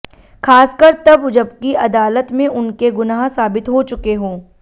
खासकर तब जबकि अदालत में उनके गुनाह साबित हो चुके हों